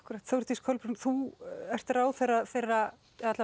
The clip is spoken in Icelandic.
Þórdís Kolbrún þú ert ráðherra þeirra